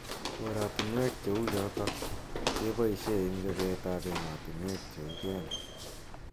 Orotunwek che uchotok ke poishe ing chopet am emotunwek cheu kenya.